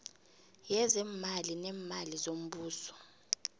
yezeemali neemali zombuso